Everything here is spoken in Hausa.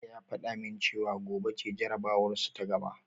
Hamza ya fada min cewa gobe ce jarabawarsu ta gaba.